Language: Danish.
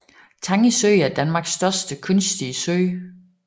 Tange Sø er Danmarks største kunstige sø